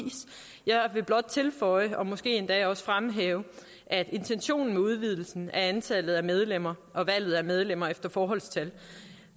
jeg vil blot tilføje og måske endda også fremhæve at intentionen med udvidelsen af antallet af medlemmer og valget af medlemmer efter forholdstal